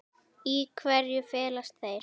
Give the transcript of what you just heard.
Í hverju felast þeir?